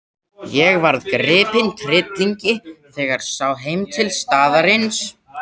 Ég varð gripinn tryllingi þegar sá heim til staðarins.